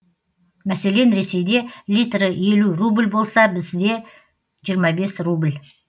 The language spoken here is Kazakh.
мәселен ресейде литрі елу рубль болса бізде жиырма бес рубль